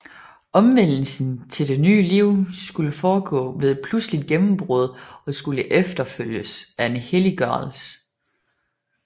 Omvendelsen til det nye liv skulle foregå ved et pludseligt gennembrud og skulle efterfølges af en helliggørelse